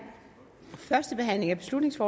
sluttet